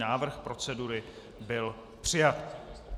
Návrh procedury byl přijat.